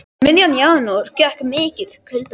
Um miðjan janúar gekk mikið kuldakast yfir Evrópu.